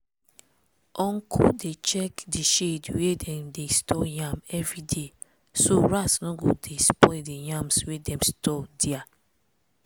uncle dey check di shed wia dem dey store yam everyday so rats no go dey spoil di yams wey dem store dia.